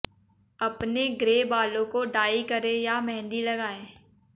अपने ग्रे बालों को डाई करें या मेंहदी लगाएं